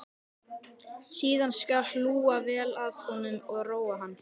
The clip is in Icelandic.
Síðan skal hlúa vel að honum og róa hann.